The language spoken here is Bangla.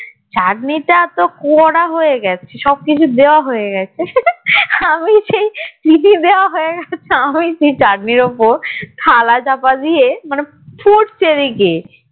চাটনি টা তো করা হয়ে গেছে আমি সেই আমি সেই চাটনির উপর থালা চাপা দিয়ে মানে ফুটছে এদিকে এদিকে